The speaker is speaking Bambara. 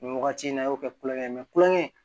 Nin wagati in na a y'o kɛ kulonkɛ ye kulonkɛ